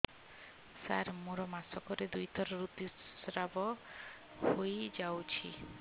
ସାର ମୋର ମାସକରେ ଦୁଇଥର ଋତୁସ୍ରାବ ହୋଇଯାଉଛି